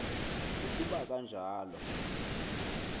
uku ba kanjalo